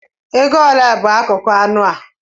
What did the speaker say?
Ego ole bụ akụkụ anụ a